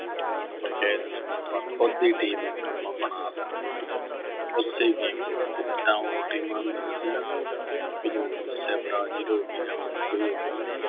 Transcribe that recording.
ਕਹਿ ਦੇਈਏ ਵੀ ਆਪਾਂ ਖੁਦ ਦੀ team ਇੱਕ ਆਪਾਂ ਬਣਾ ਲੈਂਦੇ ਸੀ, ਉਸੇ game ਦੇ ਵਿੱਚ ਜਿੱਦਾਂ ਹੋਰ teams ਹੁੰਦੀਆਂ ਸੀ ਨਾ ਵੀ ਜਿਵੇਂ ਥੋਨੂੰ ਦੱਸਿਆ Brazil ਹੋਗੀ ਜਾਂ ਹੋਰ ਕੋਈ ਹੋਗੀ ਹੈ ਨਾ